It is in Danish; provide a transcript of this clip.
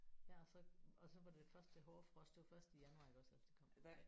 Ja og så og så var det først det hårde frost det var først i januar iggås at det kom